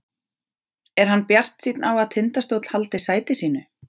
Er hann bjartsýnn á að Tindastóll haldi sæti sínu?